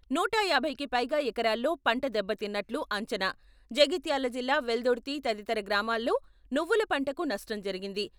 నూట యాభైకి పైగా ఎకరాల్లో పంట దెబ్బతిన్నట్లు అంచనా, జగిత్యాల జిల్లా వెల్దుర్తి తదితర గ్రామాల్లో నువ్వుల పంటకు నష్టం జరిగింది.